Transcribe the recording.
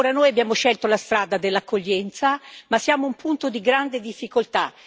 Ora, noi abbiamo scelto la strada dell'accoglienza, ma siamo a un punto di grande difficoltà.